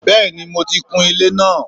Bẹ́ẹ̀ni mo ti kun ilé náà